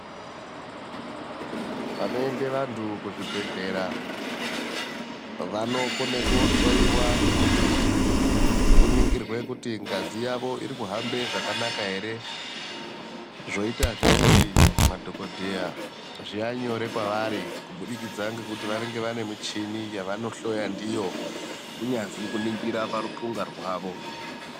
Panoende vantu kuzvibhedhlera vanokone kohloyiwa kuti kuningirwe kuti ngazi yavo irikuhambe zvakanaka ere zvoitazve kuti madhokodheya zvive nyore kwavari kubudikidza ngekuti vanenge vane michini yavanohloya ndiyo kunyazwi kuningira paruthunga rwavo.